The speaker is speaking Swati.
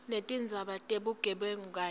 netindzaba tebugebengu kanye